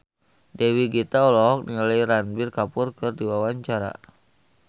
Dewi Gita olohok ningali Ranbir Kapoor keur diwawancara